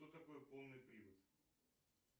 что такое полный привод